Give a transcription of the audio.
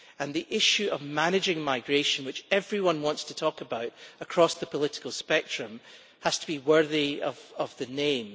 The issue of managing migration, which everyone wants to talk about across the political spectrum, has to be worthy of the name.